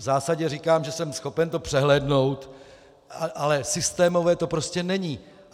V zásadě říkám, že jsem schopen to přehlédnout, ale systémové to prostě není.